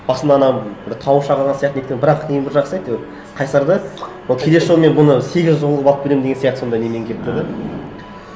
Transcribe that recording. басында ана бір тауы шағылған сияқты неткен бірақ ең бір жақсысы әйтеуір қайсар да ол келесі жолы мен бұны сегіз жол қылып алып келемін деген сияқты сондай немен келіп тұр да